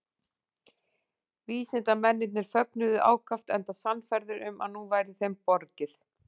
Vísindamennirnir fögnuðu ákaft enda sannfærðir um að nú væri þeim borgið.